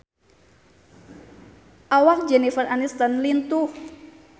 Awak Jennifer Aniston lintuh